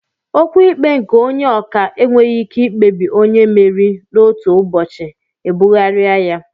Okwu ikpe nke Onye ọka enweghị ike ikpebi onye mmeri n'otu ụbọchị ebugharịa ya